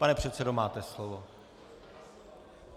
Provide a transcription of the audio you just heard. Pane předsedo, máte slovo.